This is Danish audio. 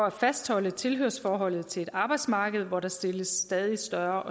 at fastholde tilhørsforholdet til et arbejdsmarked hvor der stilles stadig større